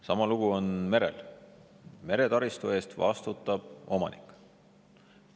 Sama lugu on merel: meretaristu eest vastutab omanik.